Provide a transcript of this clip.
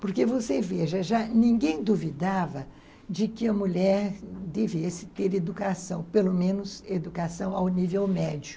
Porque você veja, já ninguém duvidava de que a mulher devesse ter educação, pelo menos educação ao nível médio.